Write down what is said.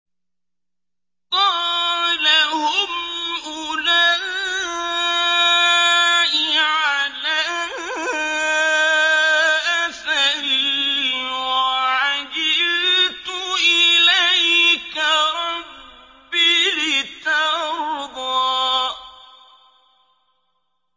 قَالَ هُمْ أُولَاءِ عَلَىٰ أَثَرِي وَعَجِلْتُ إِلَيْكَ رَبِّ لِتَرْضَىٰ